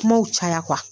Kumaw caya